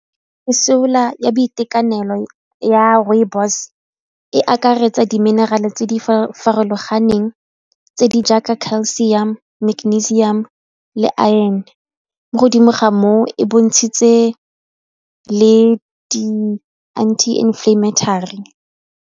Mesola ya boitekanelo ya rooibos e akaretsa di-mineral-e tse di farologaneng tse di jaaka calcuium, magnesium, le iron mo godimo ga moo e bontshitse le di anti inflammatory.